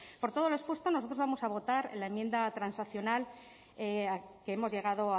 por todo lo expuesto nosotros vamos a votar la enmienda transaccional que hemos llegado